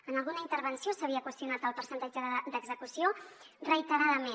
en alguna intervenció s’havia qüestionat el percentatge d’execució reiteradament